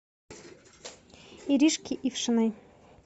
иришке ившиной